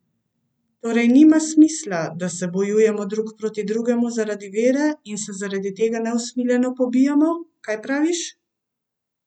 Torej nima smisla, da se bojujemo drug proti drugemu zaradi vere in se zaradi tega neusmiljeno pobijamo, kaj praviš?